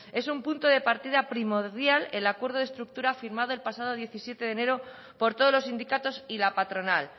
es un punto de partida primordial el acuerdo de estructura firmado el pasado diecisiete de enero por todos los sindicatos y la patronal